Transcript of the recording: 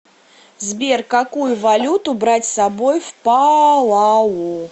сбер какую валюту брать с собой в палау